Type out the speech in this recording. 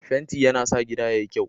Fenti yana sa gida yayi kyau.